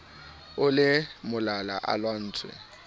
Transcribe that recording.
o le malala a laotswe